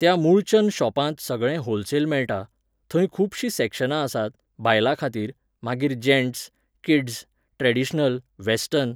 त्या मुळचंद शॉपांत सगळें होलसेल मेळटा, थंय खुबशीं सॅक्शनां आसात, बायलां खातीर, मागीर जॅन्टस, किड्स, ट्रॅडिशनल, वॅस्टर्न.